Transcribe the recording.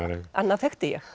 annað þekkti ég